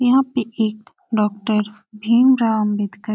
यहाँ पे एक डॉक्टर भीम राव अंबेडकर --